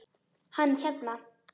Hann hérna.